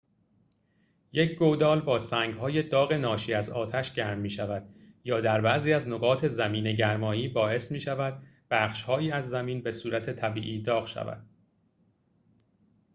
یک گودال با سنگ‌های داغ ناشی از آتش گرم می‌شود یا در بعضی از نقاط زمین‌گرمایی باعث می‌شود بخش‌هایی از زمین به‌صورت طبیعی داغ شود